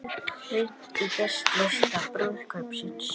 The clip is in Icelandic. Rýnt í gestalista brúðkaupsins